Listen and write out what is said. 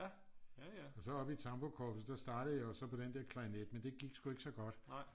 og så oppe tamburkorpset der startede jeg jo så på den der klarinet men det gik sgu ikke så godt